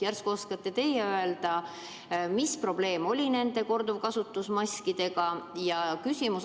Vahest oskate teie öelda, mis probleem nende korduvkasutusega maskidega oli?